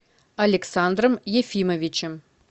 александром ефимовичем